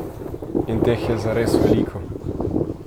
In teh je zares veliko!